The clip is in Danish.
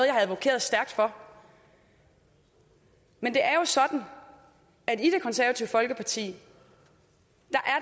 advokeret stærkt for men det er jo sådan at i det konservative folkeparti